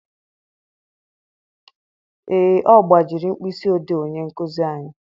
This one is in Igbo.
Ee, ọ gbajiri mkpịsị odee onye nkuzi anyị.